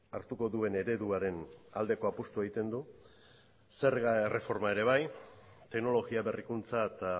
hartuko duen ereduaren aldeko apustua egiten du zerga erreforma ere bai teknologia berrikuntza eta